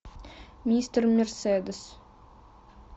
мистер мерседес